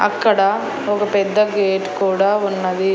అక్కడ ఒక పెద్ద గేట్ కూడా ఉన్నది.